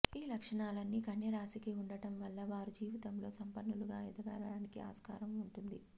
ఈ లక్షణాలన్నీ కన్యరాశికి ఉండడం వల్ల వారు జీవితంలో సంపన్నులుగా ఎదగడానికి ఆస్కారం ఉంటుంది